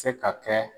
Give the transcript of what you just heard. Se ka kɛ